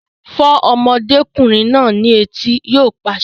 Fọ́ ọmọdékùnrin náà ní etí! Yóò pàṣẹ